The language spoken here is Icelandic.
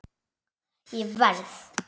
Ég verð!